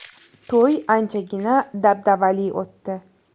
To‘y anchagina dabdabali o‘tdi.